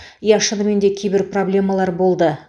иә шынымен де кейбір проблемалар болды